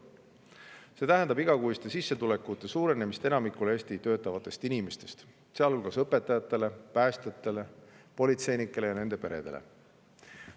See tähendab igakuiste sissetulekute suurenemist enamikule Eestis töötavatest inimestest, sealhulgas õpetajatele, päästjatele, politseinikele ja nende peredele.